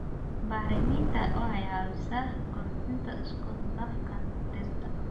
Bacriminta waxay caawisaa kordhinta isku dhafka dhirta.